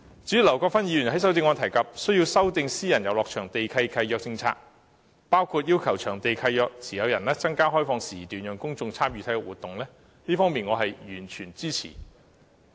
至於劉國勳議員在修正案中提及需要修訂私人遊樂場地契約的政策，包括要求場地契約持有人增加開放時段，讓公眾參與體育活動，這方面我是完全支持的。